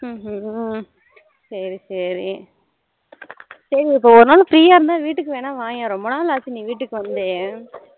ஹம் ஹம் சரி சரி, சரி நீ ஒரு நாள் free ஆ இருந்தா வீட்டுக்கு வேணா வாயேன் ரொம்ப நாள் ஆச்சி நீ வீட்டுக்கு வந்து